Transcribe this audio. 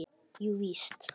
Jú víst.